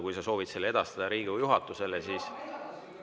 Kui sa soovid selle edastada Riigikogu juhatusele, siis …